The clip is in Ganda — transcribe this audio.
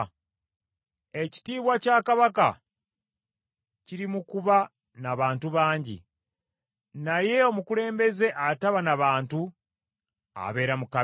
Ekitiibwa kya kabaka kiri mu kuba n’abantu bangi, naye omukulembeze ataba n’abantu abeera mu kabi.